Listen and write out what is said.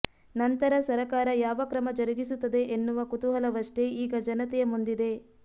ನಂತರ ಸರಕಾರ ಯಾವ ಕ್ರಮ ಜರುಗಿಸುತ್ತದೆ ಎನ್ನುವ ಕುತೂಹಲವಷ್ಟೇ ಈಗ ಜನತೆಯ ಮುಂದಿದೆ